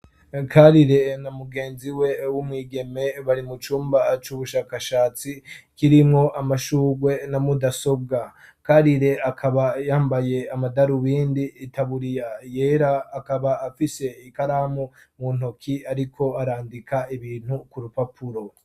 Karire na mugenzi we w'umwigeme bari mu cumba c'ubushakashatsi kirimwo amashurwe na mudasobwa, Karire akaba yambaye amadarubindi, itaburiya yera, akaba afise ikaramu mu ntoki ariko arandika ibintu ku rupapuro.